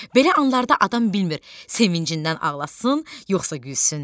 Belə anlarda adam bilmir, sevincindən ağlasın, yoxsa gülsün.